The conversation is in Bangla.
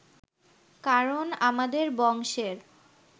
কারণ আমাদের বংশের